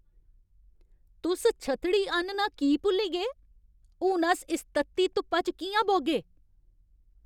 तुस छत्तड़ी आह्नना की भुल्ली गे ? हून अस इस तत्ती धुप्पा च कि'यां बौह्गे?